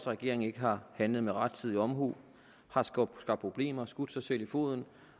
regeringen ikke har handlet med rettidig omhu har skabt problemer har skudt sig selv i foden